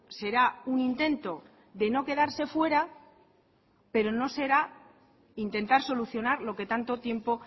será un intento de no quedarse fuera pero no será intentar solucionar lo que tanto tiempo